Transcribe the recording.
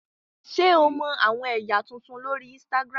Ṣe o mọ awọn ẹya tuntun lori Instagram?